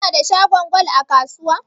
Kuna da shagon gwal a kasuwa?